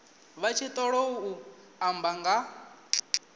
vha tshi ṱoḓou amba nga